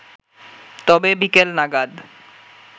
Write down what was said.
তবে বিকেল নাগাদ